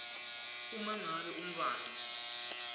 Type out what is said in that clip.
uma ngabe umntfwana